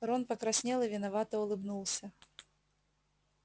рон покраснел и виновато улыбнулся